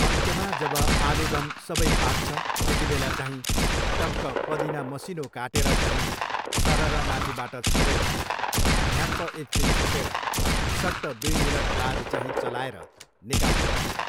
अन्त्यमा जब आलुदम सबै पाक्छ त्यतिबेला चाहिँ टक्क पदिना मसिनो काटेर चाहिँ सरर माथिबाट छरेर, ढ्याप्प एकछिन छोपेर सट्ट दुई मिनटबाद चाहिँ चलाएर निकाल्नुपर्छ।